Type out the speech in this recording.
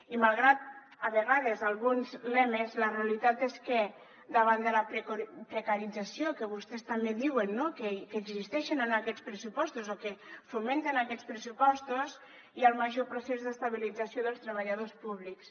i malgrat a vegades alguns lemes la realitat és que davant de la precarització que vostès també diuen que existeix en aquests pressupostos o que fomenten aquests pressupostos hi ha el major procés d’estabilització dels treballadors públics